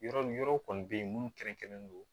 Yɔrɔw kɔni bɛ yen minnu kɛrɛnkɛrɛnnen don